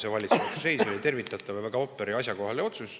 See valitsuse otsus oli tervitatav ja väga asjakohane.